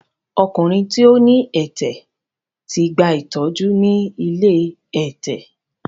Ọkùnrin tí ó ní ẹ̀tẹ̀ ti gba ìtọ́jú ni ilé ẹ̀tẹ̀.